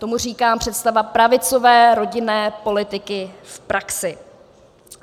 Tomu říkám představa pravicové rodinné politiky v praxi!